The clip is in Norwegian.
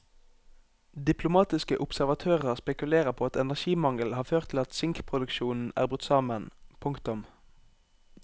Diplomatiske observatører spekulerer på at energimangel har ført til at sinkproduksjonen er brutt sammen. punktum